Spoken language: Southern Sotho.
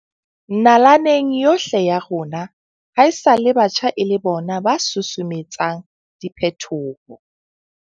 Nalaneng yohle ya rona haesale batjha e le bona ba susumetsang diphetoho.